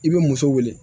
I bɛ muso wele